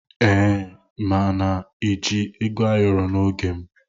Ee, m na-eji Ego ayoro n'oge m.